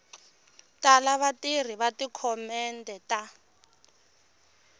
tala vatirhi va tidokhumente a